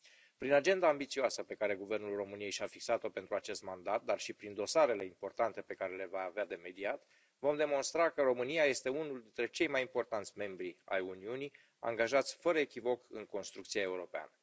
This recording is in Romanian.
Prin agenda ambițioasă pe care Guvernul României și a fixat o pentru acest mandat, dar și prin dosarele importante pe care le va avea de mediat, vom demonstra că România este unul dintre cei mai importanți membri ai Uniunii, angajați fără echivoc în construcția europeană.